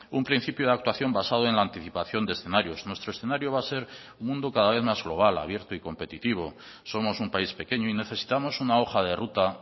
un principio de actuación basado en la anticipación de escenarios nuestro escenario va a ser un mundo cada vez más global abierto y competitivo somos un país pequeño y necesitamos una hoja de ruta